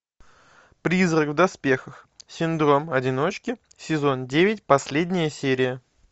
призрак в доспехах синдром одиночки сезон девять последняя серия